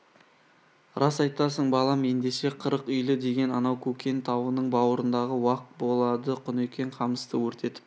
рас айтасың балам ендеше қырық үйлі деген анау көкен тауының баурындағы уақ болады құнекең қамысты өртетіп